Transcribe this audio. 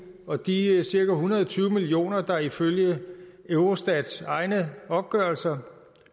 og de cirka en hundrede og tyve millioner der ifølge eurostats egne opgørelser